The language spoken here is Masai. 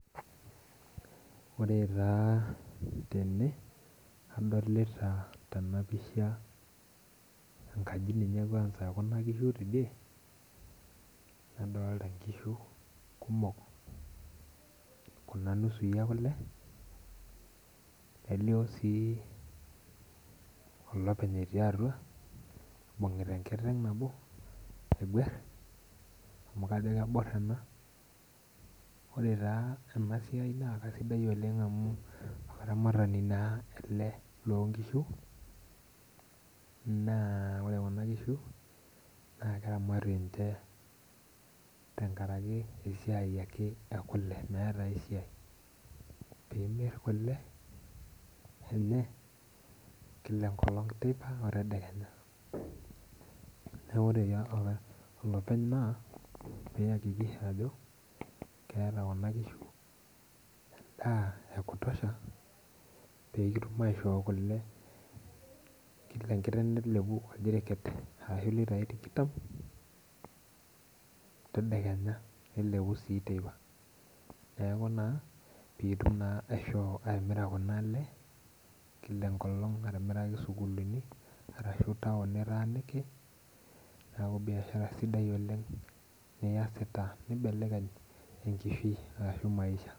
Ore taa tene adolita ninye angas kwasa enkaji ekuna kishu teidie ,nadolita nkishu kumok Kuna nusui ekule ,nelio sii olopeny etii atua eibungita enkiteng nabo aigwar amu kajo kebor oleng. ore taa ena siai naa keisidai amu olaramatani naa ele lekuna kishu, naa ore Kuna kishu naa keramati ninche tenkaraki esiai ekule meeta ninche ai siai, pee imir kule enye Kila teipa otedekenya .neeku ore olepeny keakikisha ajo eunoto Kuna kishu endaa ekutosha pee kitum aishoo kule ,Kila enkiteng nilepu oljeriket ashu litai tikitam tedekenya nilepu sii teipa pee indim naa atimira Kuna le Kila enkolong atimiraki sukuulini arashu taon nitaaniki neeku biashara sidai niyasita nimbelekeny enkishui ashu maisha.